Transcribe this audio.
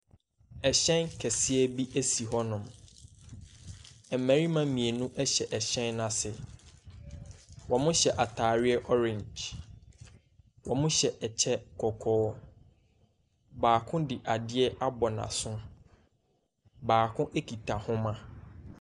Ɛhyɛn kɛseɛ bi esi hɔ nom. Mmɛrima mmienu ɛhyɛ ɛhyɛn n'ase. Wɔmo hyɛ ataareɛ ɔring. Ɔmo hyɛ ɛkyɛ kɔkɔɔ. Baako de adeɛ abɔ n'aso. Baako ekita nhoma.